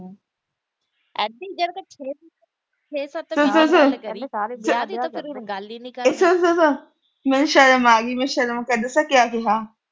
ਮੈਨੂੰ ਸ਼ਰਮ ਆ ਗਈ, ਮੈਂ ਸ਼ਰਮ ਕਿਹਾ